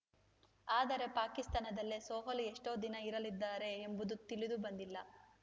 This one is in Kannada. ಆದರೆ ಪಾಕಿಸ್ತಾನದಲ್ಲೇ ಸೊಹಾಲಿ ಎಷ್ಟುದಿನ ಇರಲಿದ್ದಾರೆ ಎಂಬುದು ತಿಳಿದುಬಂದಿಲ್ಲ